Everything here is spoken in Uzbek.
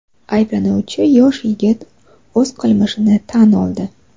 Ayblanuvchi yosh yigit o‘z qilmishini tan oldi.